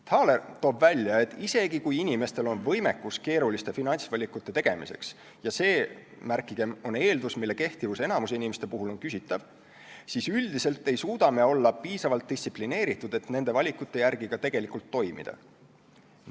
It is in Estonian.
Thaler toob esile, et isegi kui inimestel on võimekus keeruliste finantsvalikute tegemiseks – ja see, märkigem, on eeldus, mille kehtivus enamiku inimeste puhul on küsitav –, siis üldiselt ei suuda me olla piisavalt distsiplineeritud, et nende valikute järgi ka tegelikult toimida.